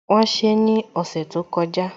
Wọ́n ṣe ní ọ̀sẹ̀ tó kọjá